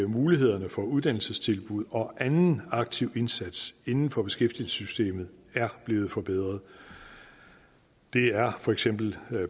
mulighederne for uddannelsestilbud og anden aktiv indsats inden for beskæftigelsessystemet er blevet forbedret der er for eksempel